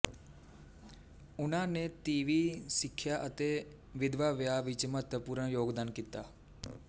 ਉਨ੍ਹਾਂ ਨੇ ਤੀਵੀਂ ਸਿੱਖਿਆ ਅਤੇ ਵਿਧਵਾ ਵਿਆਹ ਵਿੱਚ ਮਹੱਤਵਪੂਰਣ ਯੋਗਦਾਨ ਕੀਤਾ